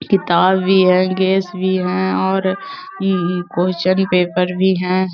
किताब भी है गेस भी है और अम क्वेश्चन पेपर भी हैं। .